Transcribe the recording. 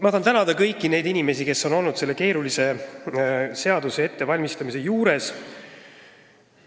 Ma tahan tänada kõiki neid inimesi, kes on olnud selle keerulise seaduse ettevalmistamise juures.